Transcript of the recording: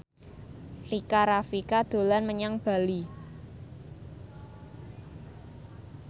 Rika Rafika dolan menyang Bali